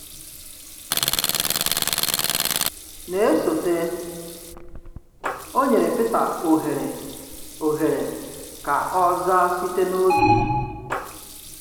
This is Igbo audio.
Na-esote, ọ̀ nyerè Píta ohere ohere ka ọ̀ zaa site n’obi.